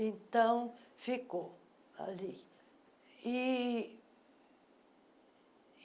Então, ficou ali. ih